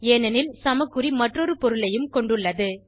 ஏனெனில சமக்குறி மற்றொரு பொருளையும் கொண்டுள்ளது